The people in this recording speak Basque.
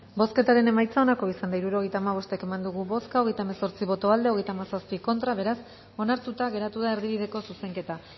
bozketaren emaitza onako izan da hirurogeita hamabost eman dugu bozka hogeita hemezortzi boto aldekoa treinta y siete contra beraz onartuta geratu da erdibideko zuzenketa